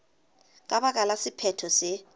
ka baka la sephetho se